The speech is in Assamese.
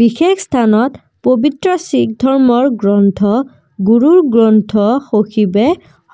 বিশেষ স্থানত পৱিত্ৰ শিখ ধৰ্মৰ গ্ৰন্থ গুৰু গ্ৰন্থ শাখিবে